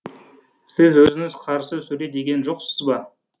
сіз өзіңіз қарсы сөйле деген жоқсыз ба